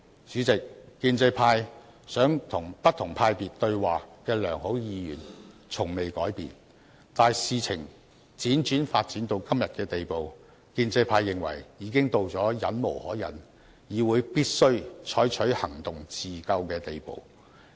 主席，建制派想與不同派別議員對話的良好意願從未改變，但事情輾轉發展至今，我們認為已經到了忍無可忍、議會必須採取行動自救的地步。